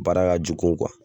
Baara ka jugun